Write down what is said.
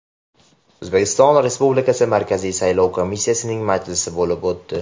O‘zbekiston Respublikasi Markaziy saylov komissiyasining majlisi bo‘lib o‘tdi.